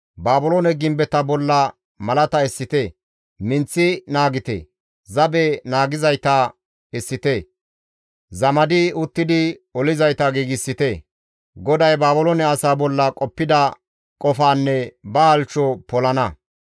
Baabiloone gimbeta bolla malata essite; minththi naagite; zabe naagizayta essite; zamadi uttidi olizayta giigsite. GODAY Baabiloone asaa bolla qoppida qofaanne ba halchcho polana.